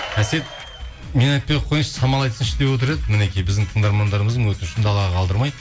әсет мен айтпай ақ қояйыншы самал айтсыншы деп отыр еді мінекей біздің тыңдармандарымыздың өтінішін далаға қалдырмай